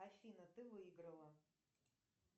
афина ты выиграла